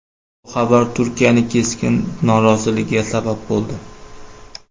Bu xabar Turkiyaning keskin noroziligiga sabab bo‘ldi.